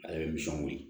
Ale ye nisɔngo ye